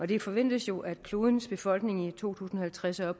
det forventes jo at klodens befolkningstal i to tusind og halvtreds er